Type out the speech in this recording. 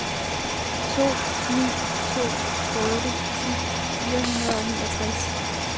to ni to otte ti fire hundrede og niogtres